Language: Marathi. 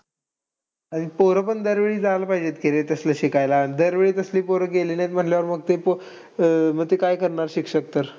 आणि पोर पण दरवेळी जायला पाहिजे की रे तसलं शिकायला. दरवेळी कसं पोरं गेली नाही म्हणल्यावर ते अं ते पो अं काय करणार शिक्षक तर.